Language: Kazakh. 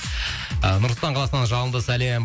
ы нұр сұлтан қаласынан жалынды сәлем